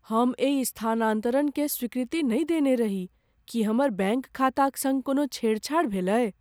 हम एहि स्थानांतरणकेँ स्वीकृति नहि देने रही। की हमर बैङ्क खाताक सङ्ग कोनो छेड़छाड़ भेलय?